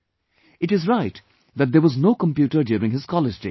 It is right that there was no computer during his college days